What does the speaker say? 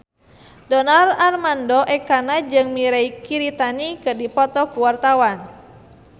Donar Armando Ekana jeung Mirei Kiritani keur dipoto ku wartawan